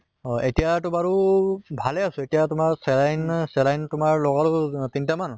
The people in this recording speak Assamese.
এতিয়া টো বাৰু ভালে আছো, এতিয়া তোমাৰ saline saline তোমাৰ লগালো তিনটা মান